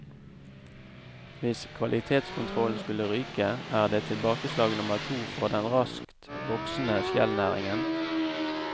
Hvis kvalitetskontrollen skulle ryke, er det tilbakeslag nummer to for den raskt voksende skjellnæringen.